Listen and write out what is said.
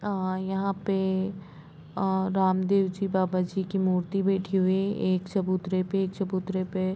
औ यहाँ पे अ रामदेव जी बाबा जी की मूर्ति बैठी हुई हैएक चबूतरे पे-एक चबूतरे पे--